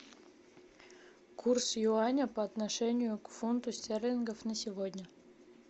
курс юаня по отношению к фунту стерлингов на сегодня